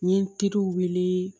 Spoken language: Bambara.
N ye n teriw wele